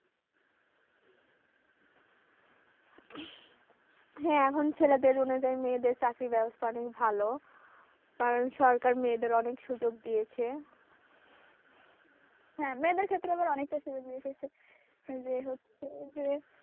হ্যাঁ এখন ছেলেদের অনুযায়ী মেয়েদের চাকরির ব্যবস্থা অনেক ভালো কারণ সরকার মেয়েদের অনেক সুযোগ দিয়েছে হ্যাঁ মেয়েদের ক্ষেত্রে আবার অনেকটা সুযোগ দিয়েছে যে হচ্ছে যে,